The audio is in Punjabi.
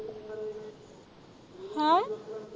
ਹੈ।